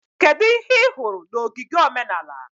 Kedu ihe ị hụrụ na ogige omenala?